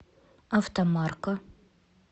автомарка